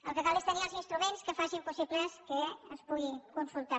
el que cal és tenir els instruments que facin possible que es pugui consultar